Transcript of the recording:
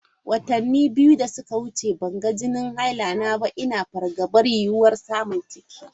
Watanni biyu da suka wuce ban ga jinin haila na ba, ina fargabar yiwuwar samun ciki.